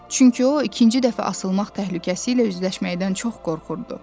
Çünki o, ikinci dəfə asılmaq təhlükəsi ilə üzləşməkdən çox qorxurdu.